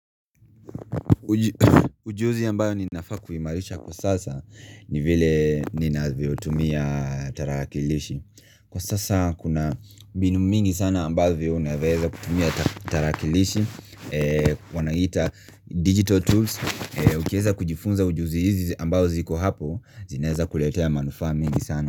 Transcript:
Ujuzi ambayo ninafaa kuhimarisha kwa sasa ni vile ninavyo tumia tarakilishi Kwa sasa kuna mbinu mingi sana ambavyo unaweza kutumia tarakilishi Wanaiita digital tools ukieza kujifunza ujuzi hizi ambayo ziko hapo zinaeza kuletea manufaa mingi sana.